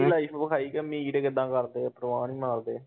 Life ਵਿਖਾਈ ਕਿ ਅਮੀਰ ਕਿੱਦਾਂ ਕਰਦੇ, ਪਰਵਾਹ ਨੀ ਮਾਰਦੇ।